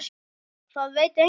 Það veit enginn.